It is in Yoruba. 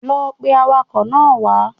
Lọ pe awakọ̀ náà wá